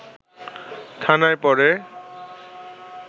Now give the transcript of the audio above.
থানায় পড়ে